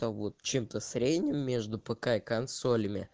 там вот чем-то средним между пк и консолями